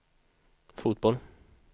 fotboll